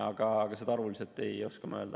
Aga arvuliselt ei oska ma öelda.